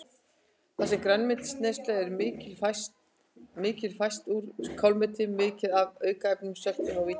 Þar sem grænmetisneyslan er mikil fæst úr kálmeti mikið af aukaefnum, söltum og vítamínum.